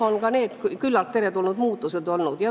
Ka kõik need on olnud teretulnud muudatused.